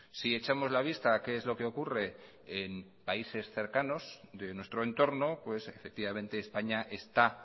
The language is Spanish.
si echamos la vista a qué es lo que ocurre en países cercanos de nuestro entorno pues efectivamente españa está